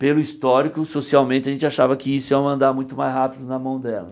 Pelo histórico, socialmente, a gente achava que isso ia andar muito mais rápido na mão dela.